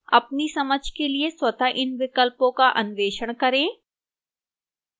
अपनी समझ के लिए स्वतः इन विकल्पों का अन्वेषण करें